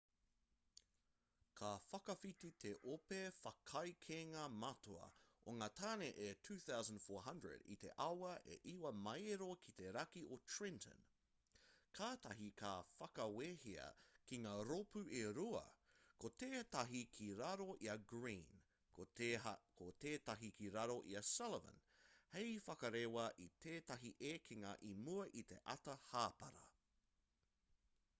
ka whakawhiti te ope whakaekenga matua o ngā tāne e 2,400 i te awa e iwa maero ki te raki o trenton kātahi ka whakawehea ki ngā rōpū e rua ko tētahi ki raro i a greene ko tētahi ki raro i a sullivan hei whakarewa i tētahi ekenga i mua i te ata hāpara